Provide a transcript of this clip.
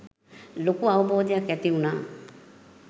ලොකු අවබෝධයක් ඇතිවුනා.